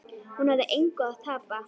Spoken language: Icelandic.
Hún hafði engu að tapa.